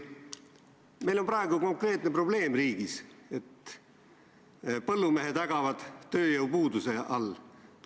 Meil on praegu konkreetne probleem riigis: põllumehed ägavad tööjõupuuduse all.